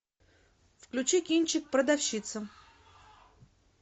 включи кинчик продавщица